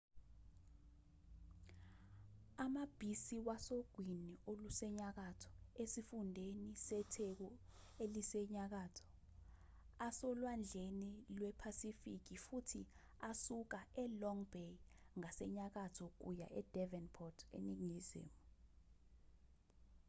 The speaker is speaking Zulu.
amabhisi wasogwini olusenyakatho esifundeni setheku elisenyakatho asolwandlekazini lwephasifiki futhi asuka e-long bay ngasenyakatho kuya e-devonport eningizimu